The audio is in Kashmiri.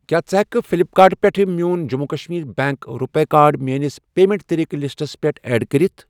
کیٛاہ ژٕ ہٮ۪کہِ کھہٕ فٕلِپ کارٹ پٮ۪ٹھ میون جٔموں کشمیٖر بیٚنٛک رُپے کارڈ میٲنِس پیمنٹ طٔریٖقہٕ لِسٹَس پٮ۪ٹھ ایڈ کٔرِتھ؟